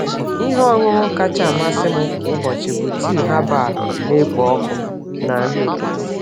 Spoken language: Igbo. Ihe ọṅụṅụ kacha amasị m kwa ụbọchị bụ tii herbal na-ekpo ọkụ na nri ụtụtụ.